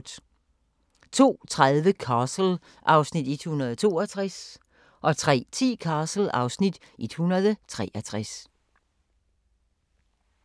02:30: Castle (Afs. 162) 03:10: Castle (Afs. 163)